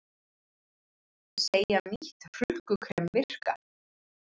Segja nýtt hrukkukrem virka